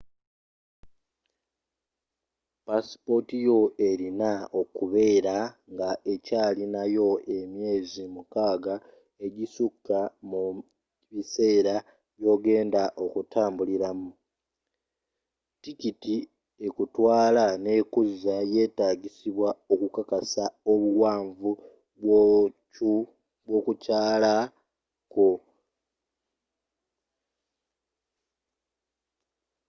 passipota yo elina okubeera nga ekyalina yo emyezi 6 egissukka mu biseera byogenda okutambulira mu tikiti ekutwala nekuzza yetagisibwa okukakasa obuwaanvu bw'okukyala kwo